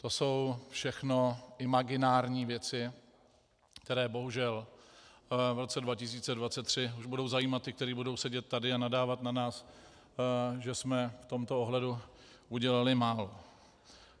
To jsou všechno imaginární věci, které bohužel v roce 2023 už budou zajímat ty, kteří budou sedět tady a nadávat na nás, že jsme v tomto ohledu udělali málo.